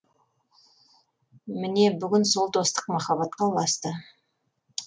міне бүгін сол достық махаббатқа ұласты